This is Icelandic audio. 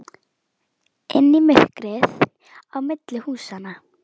Inn í myrkrið á milli húsanna.